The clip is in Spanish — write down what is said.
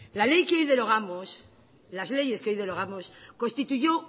las leyes que hoy derogamos constituyó